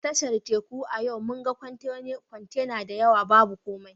A tashar Teku a yau mun ga kwantena da yawa babu kowa